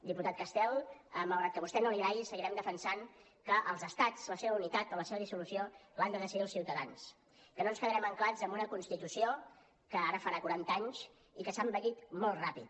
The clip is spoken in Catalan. diputat castel malgrat que a vostè no li agradi seguirem defensant que els estats la seva unitat o la seva dissolució l’han de decidir els ciutadans que no ens quedarem ancorats en una constitució que ara farà quaranta anys i que s’ha envellit molt ràpid